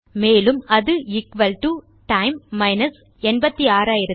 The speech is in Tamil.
மேலும் அது எக்குவல் டோ டைம் மைனஸ் 86400